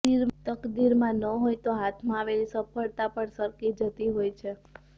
તકદીરમાં ન હોય તો હાથમાં આવેલી સફળતા પણ સરકી જતી હોય છે